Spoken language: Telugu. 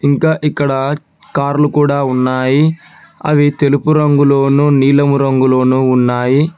ఇంకా ఇక్కడ కార్లు కూడా ఉన్నాయి అవి తెలుపు రంగులోను నీలము రంగులోను ఉన్నాయి.